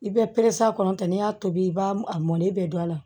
I bɛ perese a kɔnɔ tɛ n'i y'a tobi i b'a a mɔni bɛɛ don a la